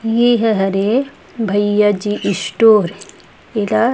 ये ह हरे भैया जी स्टोर एला--